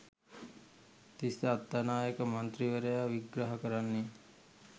තිස්ස අත්තනායක මන්ත්‍රීවරයා විග්‍රහ කරන්නේ